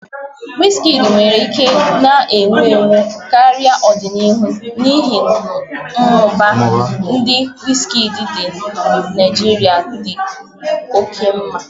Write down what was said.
Whiski nwere ike na-ewu ewu karịa n'ọdịniihu n'ihi mmụba nke whiski ndị Naijiria dị oke mma